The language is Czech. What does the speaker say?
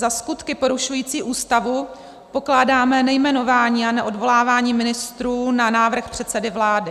Za skutky porušující Ústavu pokládáme nejmenování a neodvolávání ministrů na návrh předsedy vlády.